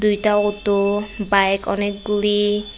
দুইতা অতো বাইক অনেকগুলি--